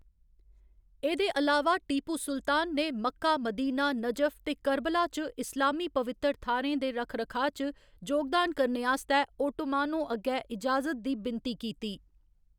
एह्‌‌‌दे अलावा, टीपू सुल्तान ने मक्का, मदीना, नजफ ते कर्बला च इस्लामी पवित्तर थाह्‌रें दे रक्ख रखाऽ च जोगदान करने आस्तै ओटोमानों अग्गें इजाजत दी विनती कीती।